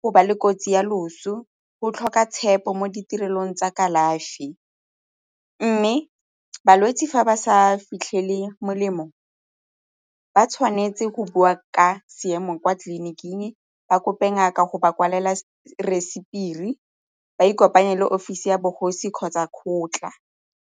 go ba le kotsi ya loso, go tlhoka tshepo mo ditirelong tsa kalafi mme balwetse fa ba sa fitlhele molemo ba tshwanetse go boa ka seemo kwa tleliniking, ba kope ngaka go ba kwalela receipt-iri, ba ikopanya le offisi ya bogosi kgotsa kgotla.